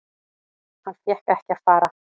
Hann fékk ekki að fara.